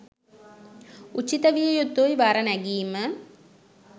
උචිත විය යුතුයි වර නැගීම.